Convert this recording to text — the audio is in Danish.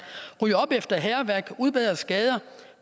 rydde op efter hærværk udbedre skader